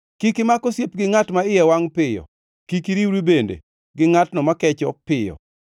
Kik imak osiep gi ngʼat ma iye wangʼ piyo; kik iriwri bende gi ngʼatno makecho piyo,